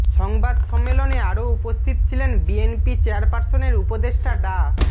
সংবাদ সম্মেলনে আরো উপস্থিত ছিলেন বিএনপি চেয়ারপারসনের উপদেষ্টা ডা